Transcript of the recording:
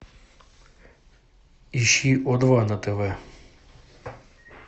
ищи о два на тв